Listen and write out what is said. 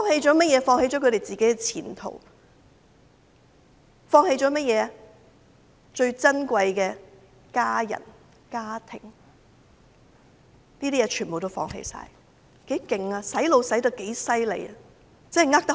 就是放棄了自己的前途，放棄了最珍貴的家人、家庭，連這些也放棄了，他們被洗腦洗得多厲害。